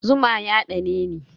Zuma ya ɗaneni.